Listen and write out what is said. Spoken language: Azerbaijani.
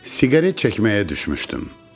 Siqaret çəkməyə düşmüşdüm.